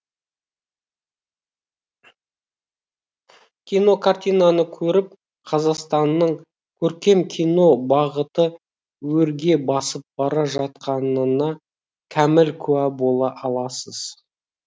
кинокартинаны көріп қазақстанның көркем кино бағыты өрге басып бара жатқанына кәміл куә бола аласыз